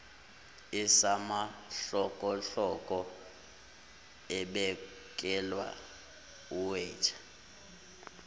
esamahlokohloko ebekela uweta